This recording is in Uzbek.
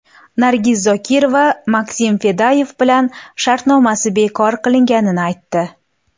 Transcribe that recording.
Nargiz Zokirova Maksim Fadeyev bilan shartnomasi bekor qilinganini aytdi.